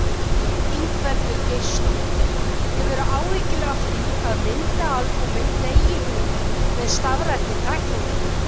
Ingveldur Geirsdóttir: Hefurðu áhyggjur af því að myndaalbúmin deyi út með stafrænni tækni?